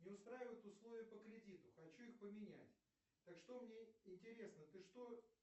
не устраивают условия по кредиту хочу их поменять так что мне интересно ты что